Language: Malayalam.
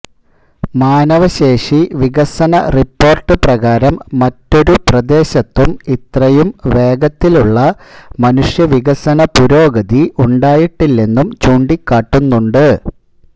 മാനവശേഷി വികസന റിപ്പോർട്ട് പ്രകാരം മറ്റൊരു പ്രദേശത്തും ഇത്രയും വേഗത്തിലുള്ള മനുഷ്യവികസന പുരോഗതി ഉണ്ടായിട്ടില്ലെന്നും ചൂണ്ടിക്കാട്ടുന്നുണ്ട്